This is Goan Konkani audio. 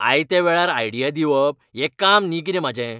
आयत्या वेळार आयडिया दिवप हें काम न्ही कितें म्हाजें.